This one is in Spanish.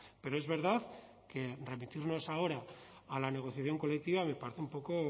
pero es verdad que remitirnos ahora a la negociación colectiva me parece un poco